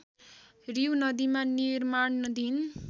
रिउ नदीमा निर्माणधीन